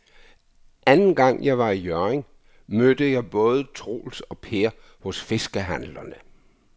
Anden gang jeg var i Hjørring, mødte jeg både Troels og Per hos fiskehandlerne.